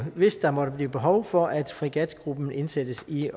hvis der måtte blive behov for at fregatgruppen indsættes i